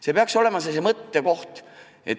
See peaks olema mõttekoht.